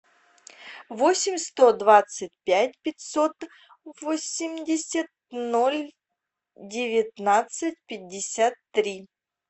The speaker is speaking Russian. восемь сто двадцать пять пятьсот восемьдесят ноль девятнадцать пятьдесят три